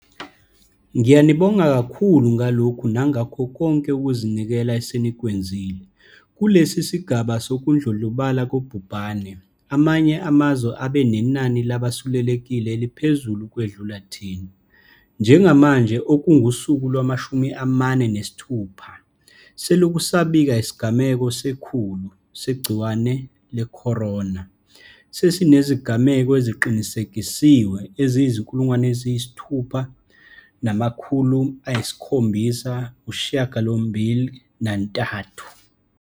Ngiyanibonga kakhulu ngalokhu nangakho konke ukuzinikela esenikwenzile. Kulesi sigaba sokudlondlobala kobhubhane, amanye amazwe abe nenani labasulelekile eliphezulu ukwedlula thina. Njengamanje - okungusuku lwama-46 selokhu sabika isigameko se-100 segciwane le-corona - sesinezigameko eziqinisekisiwe eziyizi-6 783.